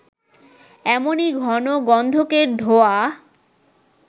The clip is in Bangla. এমনি ঘন গন্ধকের ধোঁয়া